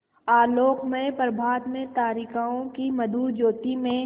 आलोकमय प्रभात में तारिकाओं की मधुर ज्योति में